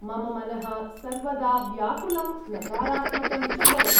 मम मनः सर्वदा व्याकुलं नकारात्मकं च भवति।